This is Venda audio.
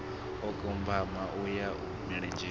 o kambiwa uyo wa milenzhe